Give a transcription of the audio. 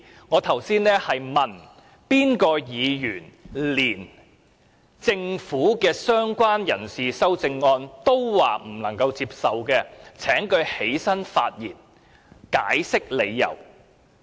我剛才說的是，如有議員連政府就"相關人士"提出的修正案都不能接受，請他站起來發言，解釋理由。